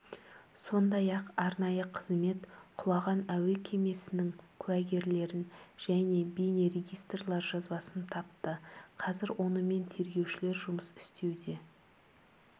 сондай-ақ арнайы қызмет құлаған әуе кемесінің куәгерлерін және бейнерегистратор жазбасын тапты қазір онымен тергеушілер жұмыс істеуде